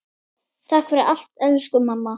Takk fyrir allt, elsku mamma.